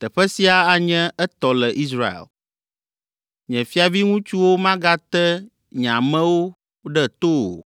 Teƒe sia anye etɔ le Israel. Nye fiaviŋutsuwo magate nye amewo ɖe to o,